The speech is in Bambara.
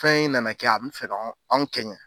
Fɛn in nana kɛ an bi fɛ ka anw kɛɲɛ